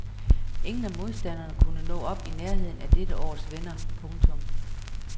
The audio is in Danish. Ingen af modstanderne kunne nå op i nærheden af dette års vinder. punktum